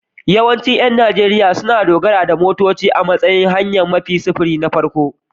Yawancin ƴan Najeriya sun dogara da motoci a matsayin hanyar sufuri na farko.